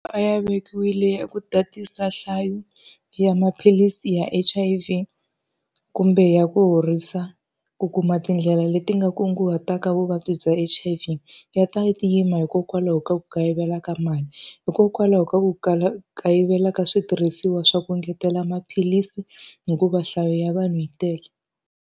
A ya vekiwile ku tatisa nhlayo ya maphilisi ya H_I_V kumbe ya ku horisa ku kuma tindlela leti nga kunguhataka vuvabyi bya H_I_V. Ya ta yi tima hikokwalaho ka ku kayivela ka mali, hikokwalaho ka ku kala kayivela ka switirhisiwa swa ku engetela maphilisi hikuva nhlayo ya vanhu yi tele.